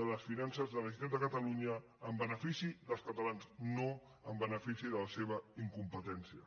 de les finances de la generalitat de catalunya en benefici dels catalans no en benefici de la seva incompetència